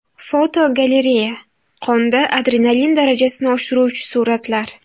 Fotogalereya: Qonda adrenalin darajasini oshiruvchi suratlar.